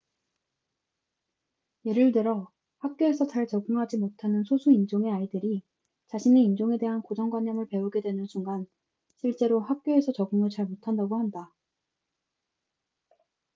예를 들어 학교에서 잘 적응하지 못하는 소수 인종의 아이들이 자신의 인종에 대한 고정 관념을 배우게 되는 순간 실제로 학교에서 적응을 잘 못한다고 한다